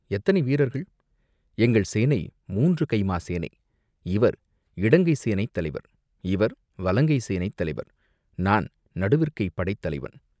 எத்தனை வீரர்கள்?" "எங்கள் சேனை மூன்று கைமா சேனை, இவர் இடங்கை சேனைத் தலைவர், இவர் வலங்கை சேனைத் தலைவர், நான் நடுவிற்கைப் படைத்தலைவன்.